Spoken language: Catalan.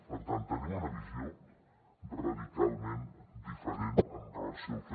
per tant tenim una visió radicalment diferent amb relació al que